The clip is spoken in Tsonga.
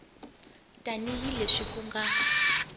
tani hi leswi ku nga